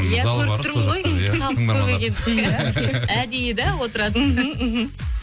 иә көріп тұрмын ғой халық көп екен әдейі да отыратын мхм мхм